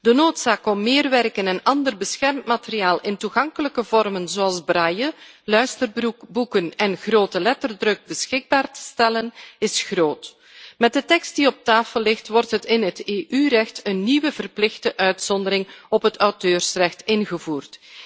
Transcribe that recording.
De noodzaak om meer werken en ander beschermd materiaal in toegankelijke vormen zoals braille, luisterboeken en groteletterdruk beschikbaar te stellen is groot. Met de tekst die op tafel ligt, wordt in het EU recht een nieuwe verplichte uitzondering op het auteursrecht ingevoerd.